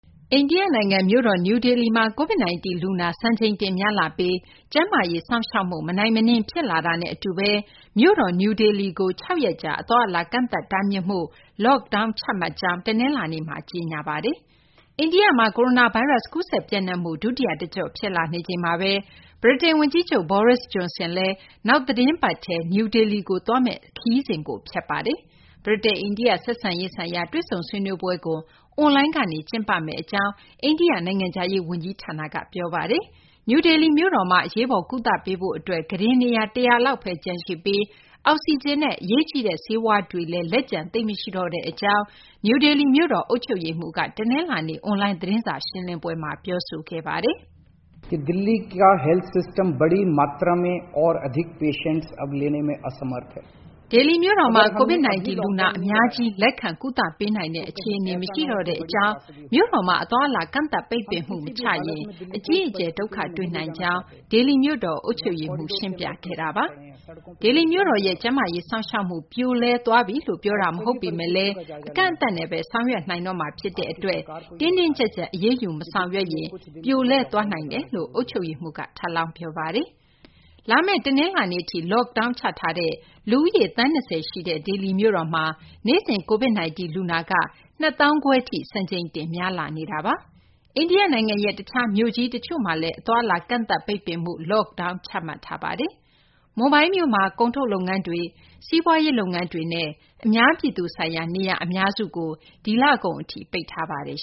အိန္ဒိယ နိုင်ငံ မြို့တော် နယူးဒေလီမှာ COVID-19 လူနာ စံချိန်တင် များလာပြီး ကျန်းမာရေး စောင့်ရှောက်မှု မနိုင်မနင်း ဖြစ်လာတာနဲ့ အတူဘဲ မြို့တော် နယူးဒေလီကို ၆ ရက်ကြာ အသွားအလာ ကန့်သတ်တားမြစ်မှု Lockdown ချမှတ်ကြောင်း တနလာၤနေ့မှာ ကြေညာပါတယ်။ အိန္ဒိယမှာ ကိုရိုနာဗိုင်းရပ်စ် ကူးစက်ပျံ့နှံ့မှု ဒုတိယ တကျော့ ဖြစ်လာနေချိန်မှာဘဲ ဗြိတိန် ဝန်ကြီးချုပ် Boris Johnson လည်း နောက်သီတင်းပတ်ထဲ New Delhi ကို သွားမယ့် ခရီးစဉ်ကို ဖျက်လိုက်ပါတယ်။ ဗြိတိန် - အိန္ဒိယ ဆက်ဆံရေး ဆိုင်ရာ တွေ့ဆုံဆွေးနွေးပွဲကို အွန်လိုင်းကနေ ကျင်းပမယ့် အကြောင်း အိန္ဒိယ နိုင်ငံခြားရေး ဝန်ကြီးဌာနက ပြောဆိုထားပါတယ်။ နယူးဒေလီ မြို့တော်မှာ အရေးပေါ် ကုသပေးဖို့ အတွက် ကုတင် နေရာ ၁၀၀ လောက်ဘဲ ကျန်ရှိပြီး အောက်ဆီဂျင်နဲ့ အရေးကြီးတဲ့ ဆေးဝါးတွေလည်း လက်ကျန် သိပ်မရှိတော့တဲ့ အကြောင်း နယူးဒေလီ မြို့တော် အုပ်ချုပ်ရေးမှူး Arvind Kejriwal က တနလာၤနေ့ အွန်လိုင်း သတင်းစာ ရှင်းလင်းပွဲမှာ ပြောပါတယ်။ ဒေလီမြို့တော်မှာ COVID-19 လူနာ အများကြီးကို လက်ခံ ကုသပေးနိုင်တဲ့ အခြေအနေ မရှိတော့တဲ့ အကြောင်း၊ မြို့တော်မှာ အသွားအလာ ကန့်သတ် ပိတ်ပင်မှု မချရင် အကြီးအကျယ် ဒုက္ခတွေ့နိုင်ကြောင်း ဒေလီမြို့တော် အုပ်ချုပ်ရေးမှူး ရှင်းပြခဲ့တာပါ။ ဒေလီမြို့တော်ရဲ့ ကျန်းမာရေး စောင့်ရှောက်မှု ပြိုလဲသွားပြီလို့ ပြောတာ မဟုတ်ပေမယ့်လည်း အကန့်အသတ်နဲ့ဘဲ ဆောင်ရွက်နိုင်တော့မှာ ဖြစ်တဲ့ အတွက် တင်းတင်းကြပ်ကြပ် အရေးယူ မဆောင်ရွက်ရင် ပြိုလဲသွားနိုင်ပါတယ်လို့လည်း အုပ်ချုပ်ရေးမှူးက ထပ်လောင်း ပြောပါတယ်။ လာမယ့် တနလာၤနေ့ထိ Lockdown ချထားတဲ့ လူဦးရေ သန်း ၂၀ ရှိတဲ့ ဒေလီမြို့တော်မှ နေ့စဉ် COVID-19 လူနာက ၂၅,၀၀၀ ထိ စံချိန်တင် များလာနေတာပါ။ အိန္ဒိယနိုင်ငံရဲ့ တခြား မြို့ကြီး တချို့လည်း အသွားအလာ ကန့်သတ်ပိတ်ပင်မှု - Lockdown ချမှတ်ထားပါတယ်။ မွန်ဘိုင်းမြို့မှာ ကုန်ထုတ်လုပ်ငန်းတွေ၊ စီးပွားရေး လုပ်ငန်းတွေနဲ့ အများပြည်သူဆိုင်ရာ နေရာ အများစုကို ဒီလကုန် အထိ ပိတ်ထားပါတယ်